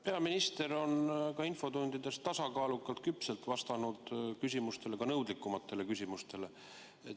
Peaminister on infotundides tasakaalukalt ja küpselt vastanud küsimustele, ka nõudlikumatele küsimustele.